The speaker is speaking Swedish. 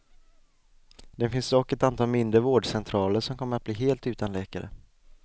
Det finns dock ett antal mindre vårdcentraler som kommer att bli helt utan läkare.